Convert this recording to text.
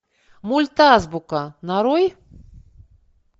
мультазбука нарой